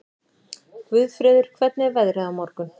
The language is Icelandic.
Guðfreður, hvernig er veðrið á morgun?